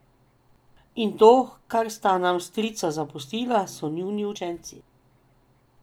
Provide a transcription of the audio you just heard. In to, kar sta nam strica zapustila, so njuni učenci.